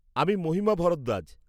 আমি মহিমা ভরদ্বাজ।